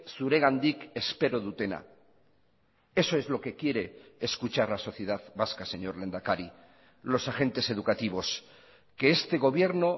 zuregandik espero dutena eso es lo que quiere escuchar la sociedad vasca señor lehendakari los agentes educativos que este gobierno